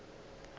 bjalo ka ge a be